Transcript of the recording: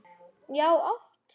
Já, oft.